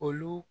Olu